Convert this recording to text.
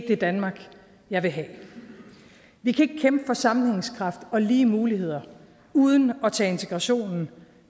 det danmark jeg vil have vi kan ikke kæmpe for sammenhængskraft og lige muligheder uden at tage integrationen